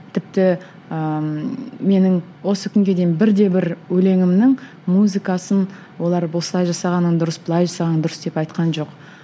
тіпті ыыы менің осы күнге дейін бір де бір өлеңімнің музыкасын олар осылай жасағаның дұрыс былай жасаған дұрыс деп айтқан жоқ